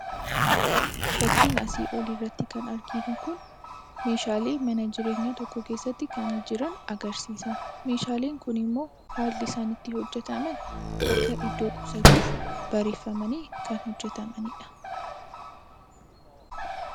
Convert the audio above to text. Fakkii asii olirratti arginu kun meeshaalee mana jireenyaa tokko keesstti kan jiran agarsiisa. Meeshaaleen kunimmoo haalli isaan itti hojjataman akka iddoo qusatuuf bareeeffamanii kan hojjatamanidha.